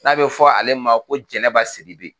N'a bɛ fɔ ale ma ko Jɛnɛba Sidibe